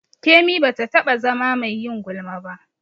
Kemi ba ta taɓa zama mai yin gulma ba.